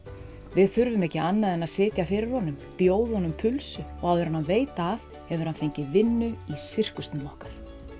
við þurfum ekki annað en að sitja fyrir honum bjóða honum pulsu og áður en hann veit af hefur hann fengið vinnu í sirkusnum okkar